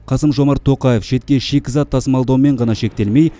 қасым жомарт тоқаев шетке шикізат тасымалдаумен ғана шектелмей